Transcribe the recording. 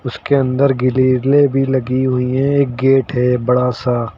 उसके अंदर गिरीले भी लगी हुई हैं एक गेट है बड़ा सा।